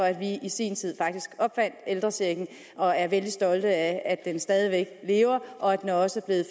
at vi i sin tid opfandt ældrechecken og er vældig stolte af at den stadig væk lever og at den også er